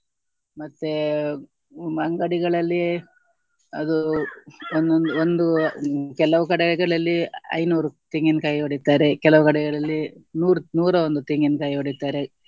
ಮತ್ತೆ ಹ್ಮ್ ಅಂಗಡಿಗಳಲ್ಲಿ ಅದು ಒಂದೊಂದು ಒಂದು ಕೆಲವು ಕಡೆಗಳಲ್ಲಿ ಐನೂರು ತೆಂಗಿನಕಾಯಿ ಹೊಡಿತಾರೆ ಕೆಲವು ಕಡೆಗಳಲ್ಲಿ ನೂರು ನೂರ ಒಂದು ತೆಂಗಿನಕಾಯಿ ಹೊಡಿತಾರೆ